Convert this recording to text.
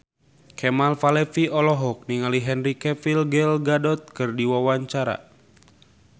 Kemal Palevi olohok ningali Henry Cavill Gal Gadot keur diwawancara